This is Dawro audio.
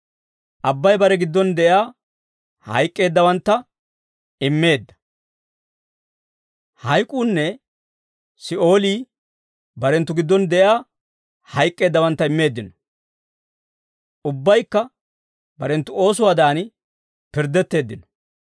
Abbay bare giddon de'iyaa hayk'k'eeddawantta immeedda; hayk'uunne Si'oolii barenttu giddon de'iyaa hayk'k'eeddawantta immeeddino. Ubbaykka barenttu oosuwaadan pirddetteeddino.